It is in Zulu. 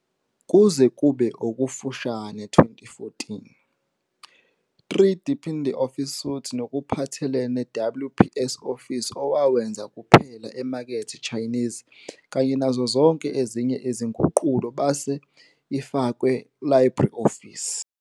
Kuze kube okufushane 2014.3 deepin the office suite nokuphathelene WPS Office owawenza kuphela emakethe Chinese kanye nazo zonke ezinye izinguqulo base ifakwe LibreOffice.